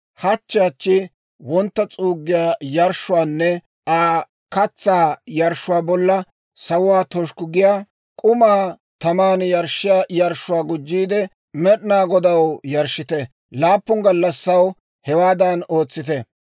Hachche hachchi wontta s'uuggiyaa yarshshuwaanne Aa katsaa yarshshuwaa bolla, sawuwaa toshukku giyaa k'umaa taman yarshshiyaa yarshshuwaa gujjiide, Med'inaa Godaw yarshshite. Laappun gallassaw hewaadan ootsite.